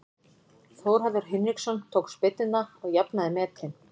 Þórhallur Hinriksson tók spyrnuna og jafnaði metin.